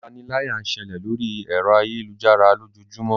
Ipániláyà ń ṣẹlẹ̀ lóri ẹ̀rọ ayélujára lójoojúmó.